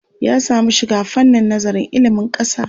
Ya samu shiga fannin nazarin ilimin ƙasa.